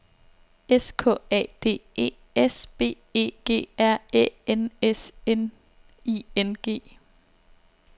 S K A D E S B E G R Æ N S N I N G